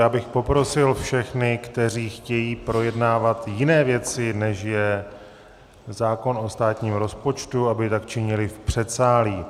Já bych poprosil všechny, kteří chtějí projednávat jiné věci, než je zákon o státním rozpočtu, aby tak činili v předsálí.